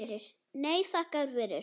Nei, þakka þér fyrir.